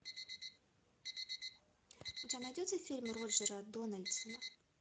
у тебя найдется фильм роджера дональдсона